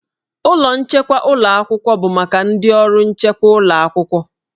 Ụlọ nchekwa ụlọ akwụkwọ bụ maka ndị ọrụ nchekwa ụlọ akwụkwọ.